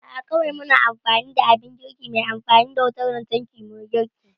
A'a kawai muna amfani da abin girki mai amfani da wutan lantarki muyi girki